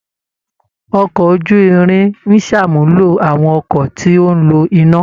Ọkọ̀ ojú-irin ń ṣàmúlò àwọn ọkọ̀ tí ó ń lo iná